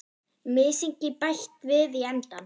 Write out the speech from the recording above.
Mysingi bætt við í endann.